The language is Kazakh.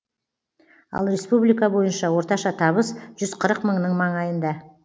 ал республика бойынша орташа табыс жүз қырық мыңның маңайында